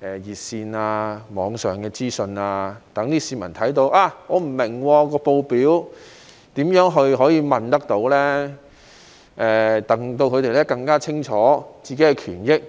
熱線、網上資訊，讓市民知道當他們不明白報表時可以如何詢問，讓他們可以更清楚他們的個人權益。